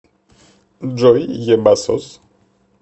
джой ебасос